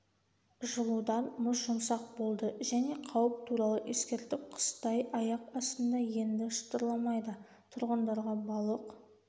жылудан мұз жұмсақ болды және қауіп туралы ескертіп қыстай аяқ астында енді шытырламайды тұрғындарға балық